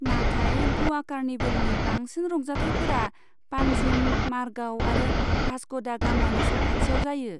नाथाय ग'वा कार्निभेलनि बांसिन रंजाथायफोरा पानजिम, मारगाव आरो भास्क' डा गामानि साखाथियाव जायो।